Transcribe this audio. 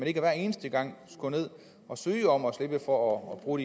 ikke hver eneste gang skulle ned at søge om at slippe for at bruge